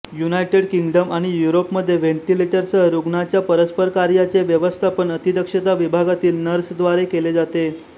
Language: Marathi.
युनायटेड किंगडम आणि युरोपमध्ये व्हेंटिलेटरसह रुग्णाच्या परस्परकार्याचे व्यवस्थापन अतिदक्षता विभागातील नर्सद्वारे केले जाते